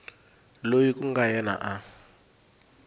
loyi ku nga yena a